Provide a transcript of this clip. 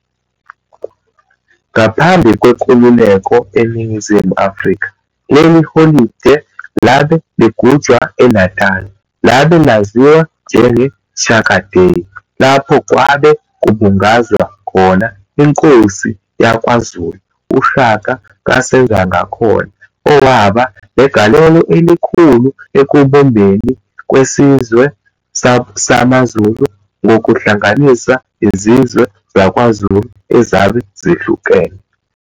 Ngaphambi kweNkululeko eNingizimu Afrika leli holide labe ligujwa eNatali labe laziwa njenge Shaka Day lapho kwabe kubungazwa khona Inkosi YakwaZulu uShaka kaSenzangakhona owaba negalelo elikhulu ekubumbeni kwesizwe samaZulu ngokuhlanganisa izizwe zakwaZulu ezabe zihlukene.